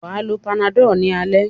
Wà á lo Panadol ní alẹ́.